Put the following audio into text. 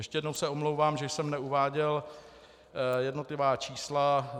Ještě jednou se omlouvám, že jsem neuváděl jednotlivá čísla.